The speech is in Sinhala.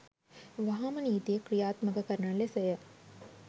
වහාම නීතිය කි්‍රයාත්මක කරන ලෙස ය.